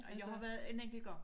Jeg har været en enkelt gang